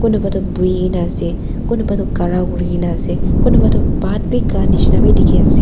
kunuba toh buikaena ase kunuba toh khara kurikaena ase kunuba toh bhat bi kha nishina dikhiase.